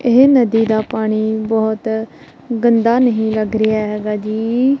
ਇਹ ਨਦੀ ਦਾ ਪਾਣੀ ਬਹੁਤ ਗੰਦਾ ਨਹੀਂ ਲੱਗ ਰਿਹਾ ਹੈਗਾ ਜੀ।